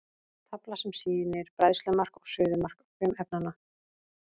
Tafla sem sýnir bræðslumark og suðumark frumefnanna.